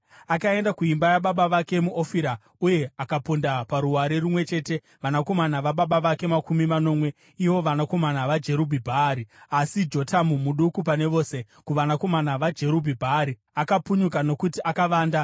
Akaenda kuimba yababa vake muOfira uye akaponda paruware rumwe chete vanakomana vababa vake makumi manomwe, ivo vanakomana vaJerubhi-Bhaari. Asi Jotamu, muduku pane vose kuvanakomana vaJerubhi-Bhaari, akapunyuka nokuti akavanda.